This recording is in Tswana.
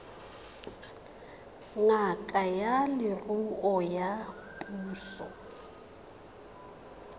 ngaka ya leruo ya puso